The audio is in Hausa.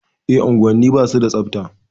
E, unguwanni ba su da tsabta.